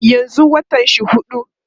yanzun watan shi huɗu